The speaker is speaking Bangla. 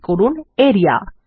ক্লিক করুন আরিয়া